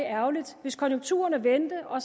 ærgerligt hvis konjunkturerne vendte og